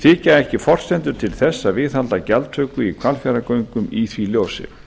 þykja ekki forsendur til þess að viðhalda gjaldtöku í hvalfjarðargöngum í því ljósi